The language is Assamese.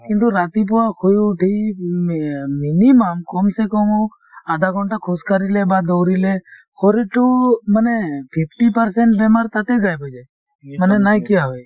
কিন্তু ৰাতিপুৱা শুই উঠি মি minimum কম চে কম হওঁক আধা ঘণ্টা খোজ কাঢ়িলে বা দৌৰিলে শাৰীৰটো মানে fifty percent বেমাৰ তাতে মানে নাইকিয়া হয়।